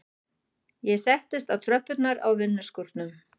Ég settist á tröppurnar á vinnuskúrnum.